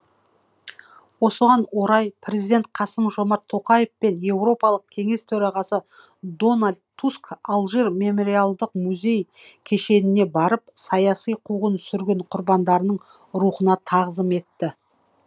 осыған орай президент қасым жомарт тоқаев пен еуропалық кеңес төрағасы дональд туск алжир мемориалдық музей кешеніне барып саяси қуғын сүргін құрбандарының рухына тағзым етті